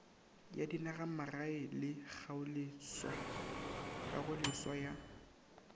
ya dinagamagae le kagoleswa ya